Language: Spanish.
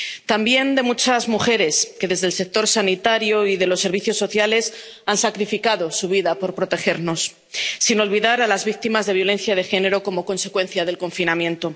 también de muchas mujeres que, desde el sector sanitario y de los servicios sociales, han sacrificado su vida por protegernos, sin olvidar a las víctimas de la violencia de género como consecuencia del confinamiento.